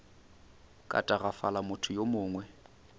ka tagafala motho yo mongwe